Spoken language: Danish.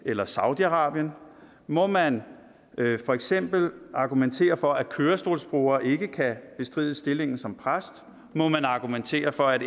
eller saudi arabien må man for eksempel argumentere for at kørestolsbrugere ikke kan bestride stillingen som præst må man argumentere for at